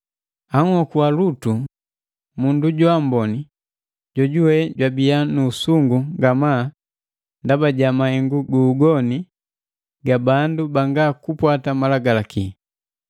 Anhokua Lutu, mundu jwaamboni, jojuwe jwabia nu usungu ngamaa ndaba ja mahengu gu ugoni ga bandu banga kupwata Malagalaki.